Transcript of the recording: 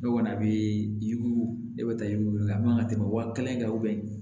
Ne kɔni bɛ yiri ne bɛ taa yiri weele a man kan ka tɛmɛ wa kelen kɛ